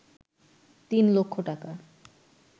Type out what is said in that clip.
তিন লক্ষ টাকা